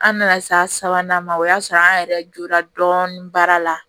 An nana se a sabanan ma o y'a sɔrɔ an yɛrɛ jora dɔɔnin baara la